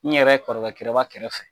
N yɛrɛ kɔrɔkɛ kɔrɔba kɛrɛfɛ